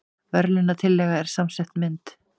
Verðlaunatillagan er samsett mynd